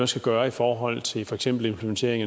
skal gøre i forhold til for eksempel implementering